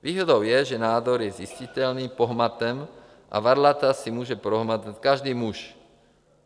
Výhodou je, že nádor je zjistitelný pohmatem a varlata si může prohmatat každý muž.